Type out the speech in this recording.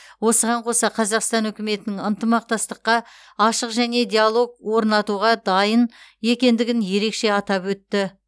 осыған қоса қазақстан үкіметінің ынтымақтастыққа ашық және диалог орнатуға дайын екендігін ерекше атап өтті